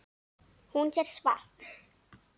Hún sér svart.